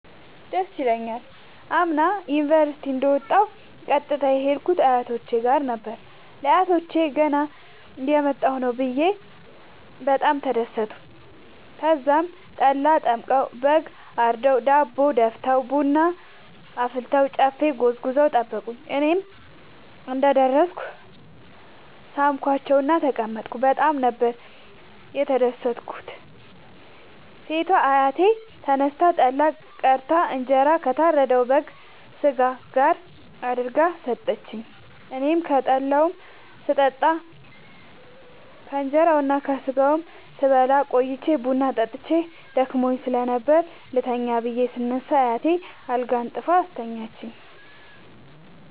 ደስ ይለኛል። አምና ዩኒቨርሢቲ እንደ ወጣሁ ቀጥታ የሄድኩት አያቶቼ ጋር ነበር። ለአያቶቸ ገና እየመጣሁ ነዉ ብየ በጣም ተደሠቱ። ተዛም ጠላ ጠምቀዉ በግ አርደዉ ዳቦ ደፍተዉ ቡና አፍልተዉ ጨፌ ጎዝጉዘዉ ጠበቁኝ። እኔም እንደ ደረስኩ ሣምኳቸዉእና ተቀመጥኩ በጣም ነበር የተደትኩት ሴቷ አያቴ ተነስታ ጠላ ቀድታ እንጀራ ከታረደዉ የበግ ስጋ ጋር አድርጋ ሠጠችኝ። አኔም ከጠላዉም ስጠጣ ከእንራዉና ከስጋዉም ስበላ ቆይቼ ቡና ጠጥቼ ደክሞኝ ስለነበር ልተኛ ብየ ስነሳ አያቴ አልጋ አንጥፋ አስተኛችኝ።